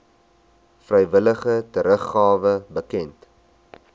vrywillige teruggawe bekend